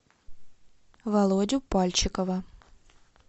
володю пальчикова